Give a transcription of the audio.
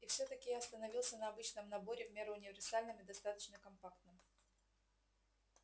и всё-таки я остановился на обычном наборе в меру универсальном и достаточно компактном